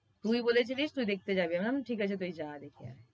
তুই বলেছিলিস তুই দেখতে যাবি। আমি বললাম ঠিক আছে তুই যা দেখে আয়।